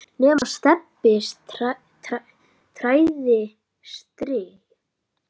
nema Stebbi træði strý.